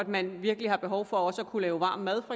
man virkelig har behov for at kunne lave varm mad